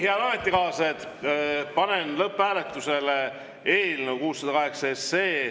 Head ametikaaslased, panen lõpphääletusele eelnõu 608.